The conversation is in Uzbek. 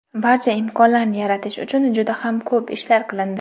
barcha imkonlarni yaratish uchun juda ham ko‘p ishlar qilindi.